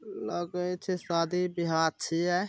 लगे छै शादी ब्याह छीए।